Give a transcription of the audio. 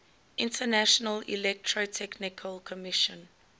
international electrotechnical commission